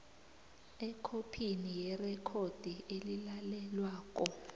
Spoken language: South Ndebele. ekhophini yerekhodi elilalelwako